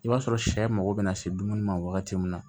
I b'a sɔrɔ sɛ mago bɛ na se dumuni ma wagati min na